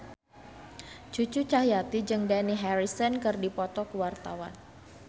Cucu Cahyati jeung Dani Harrison keur dipoto ku wartawan